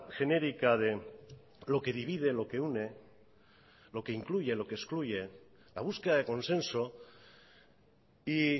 genérica de lo que divide lo que une lo que incluye lo que excluye la búsqueda de consenso y